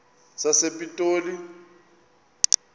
sasepitoli